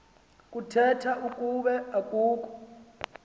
kuthetha ukuba kukho